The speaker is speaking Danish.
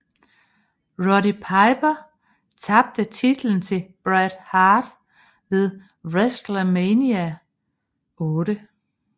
Roddy Piper tabte titlen til Bret Hart ved WrestleMania VIII